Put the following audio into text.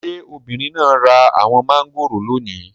Ṣé obìnrin náà ra àwọn mangoro lónìí?